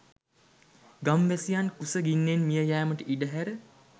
ගම් වැසියන් කුස ගින්නෙන් මිය යෑමට ඉඩ හැර